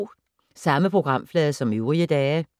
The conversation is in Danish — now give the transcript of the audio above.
Samme programflade som øvrige dage